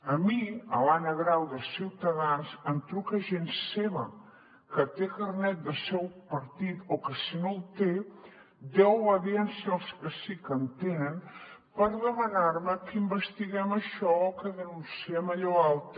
a mi a l’anna grau de ciutadans em truca gent seva que té carnet del seu partit o que si no el té deu obediència als que sí que en tenen per demanar me que investiguem això o que denunciem allò altre